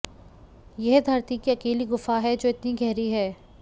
यह धरती की अकेली गुफा है जो इतनी गहरी है